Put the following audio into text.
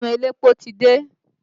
Ọmọ elépo ti dé